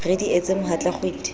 re di etse mohatla kgwiti